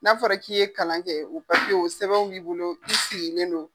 N'a fɔra k'i ye kalan kɛ, paseke , o sɛbɛnw b'i bolo k'i siginen don.